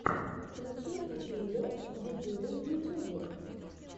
включи дидюлю дидюлю в ютубе